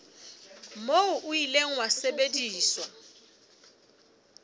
moo o ile wa sebediswa